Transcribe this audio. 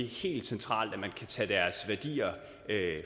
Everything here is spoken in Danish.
helt centralt at man kan tage deres værdier